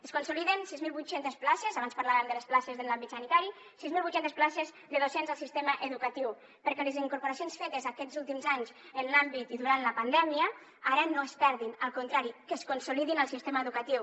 es consoliden sis mil vuit cents places abans parlàvem de les places en l’àmbit sanitari de docents al sistema educatiu perquè les incorporacions fetes aquests últims anys en l’àmbit i durant la pandèmia ara no es perdin al contrari que es consolidin al sistema educatiu